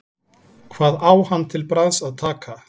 Hvað á hann til bragðs að taka?